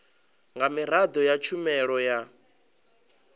nga miraḓo ya tshumelo ya